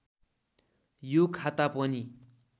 यो खाता पनि